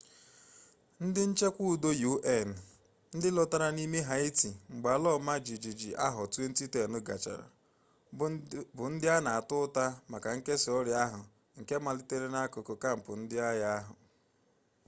ndị nchekwa udo un ndị lọtara n'ime haịti mgbe ala ọma jijiji 2010 gachara bụ ndị a na-ata ụta maka nkesa ọrịa ahụ nke malitere n'akụkụ kampụ ndị agha ahụ